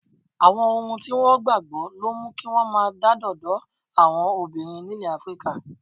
Àwọn ohun tí wọ́n gbà gbọ́ ló mú kí wọ́n máa dádọ̀dọ́ àwọn obìnrin nílẹ̀ Áfíríkà.